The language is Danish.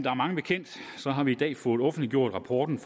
er mange bekendt har vi i dag fået offentliggjort rapporten